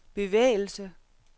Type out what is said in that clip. bevægelse